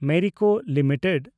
Merico limited